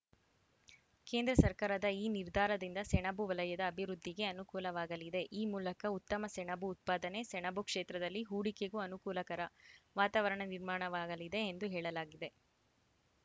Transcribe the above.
ಕೇಂದ್ರ ಸರ್ಕಾರದ ಈ ನಿರ್ಧಾರದಿಂದ ಸೆಣಬು ವಲಯದ ಅಭಿವೃದ್ಧಿಗೆ ಅನುಕೂಲವಾಗಲಿದೆ ಈ ಮೂಲಕ ಉತ್ತಮ ಸೆಣಬು ಉತ್ಪಾದನೆ ಸೆಣಬು ಕ್ಷೇತ್ರದಲ್ಲಿ ಹೂಡಿಕೆಗೂ ಅನುಕೂಲಕರ ವಾತಾವರಣ ನಿರ್ಮಾಣವಾಗಲಿದೆ ಎಂದು ಹೇಳಲಾಗಿದೆ